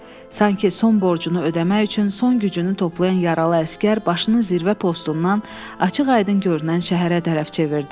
Sanki son borcunu ödəmək üçün son gücünü toplayan yaralı əsgər başını zirvə postundan açıq-aydın görünən şəhərə tərəf çevirdi.